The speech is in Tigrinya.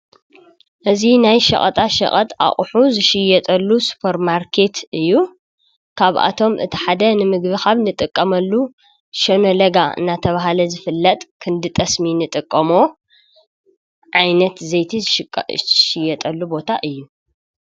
እዚ ናይ ሸቀጣሸቀጥ ኣቕሑ ዝሽየጠሉ ሱፐርማርኬት እዩ። ካብ ኣቶም እቲ ሓደ ንምግቢ ካብ እንጥቀመሉ ሸመለጋ እናተብሃለ ዝፍለጥ ክንድ ጠስሚ እንጥቀሞ ዓይነት ዘይቲ ዝሽየጠሉ ቦታ እዩ።